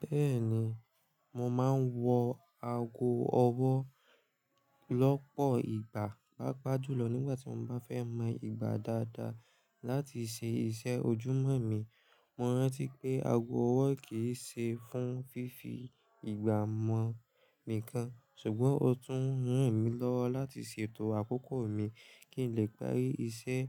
Bẹ́ẹ̀ni, mo máa ń wọ ago ọwọ́ lọ́pọ̀ ìgbà pádúù lọ nígbà tí mo bá fẹ́ mọ ìgbà dáadáa láti ṣe iṣẹ́ ojúmọ́ mi. Mo rántí pé ago ọwọ́ kì í ṣe fún fífi ìgbà mọ̀ nìkan, ṣùgbọ́n ó tún ràn mí lọ́wọ́ láti ṣètò àkókò mi kí n lè parí iṣẹ́